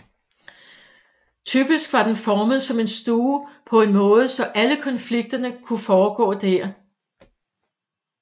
Typisk var den formet som en stue på en måde så alle konflikterne kunne foregå der